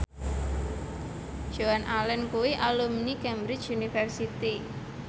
Joan Allen kuwi alumni Cambridge University